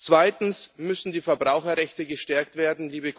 Zweitens müssen die Verbraucherrechte gestärkt werden.